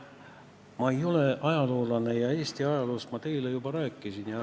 Ma ei ole ajaloolane ja Eesti ajaloost ma teile juba rääkisin.